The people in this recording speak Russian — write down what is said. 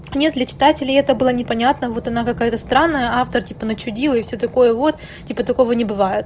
нет для читателей это было непонятно вот она какая-то странная автор типа начудила и все такое вот типа такого не бываиет